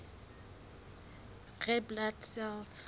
red blood cells